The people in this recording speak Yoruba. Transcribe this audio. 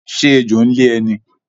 Ṣé ẹjọ́ ń lé ẹ ní?